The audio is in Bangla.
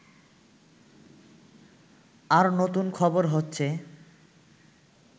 আর নতুন খবর হচ্ছে